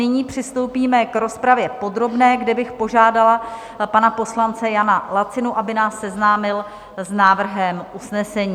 Nyní přistoupíme k rozpravě podobné, kde bych požádala pana poslance Jana Lacinu, aby nás seznámil s návrhem usnesení.